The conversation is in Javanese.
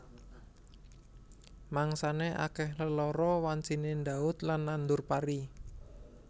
Mangsané akèh lelara wanciné ndhaut lan nandur pari